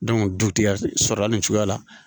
du ti ka sɔrɔ hali nin cogoya la